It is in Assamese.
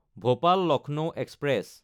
ভূপাল–লক্ষ্ণৌ এক্সপ্ৰেছ